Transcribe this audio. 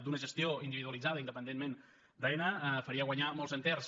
d’una gestió individualitzada independentment d’aena faria guanyar molts enters